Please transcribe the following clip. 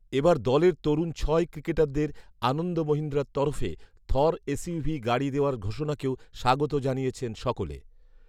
এবার দলের তরুণ ছয় ক্রিকেটারদের আনন্দ মহিন্দ্রার তরফে থর এসইউভি গাড়ি দেওয়ার ঘোষণাকেও স্বাগত জানিয়েছেন সকলে